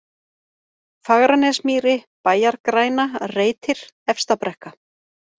Fagranesmýri, Bæjargræna, Reitir, Efstabrekka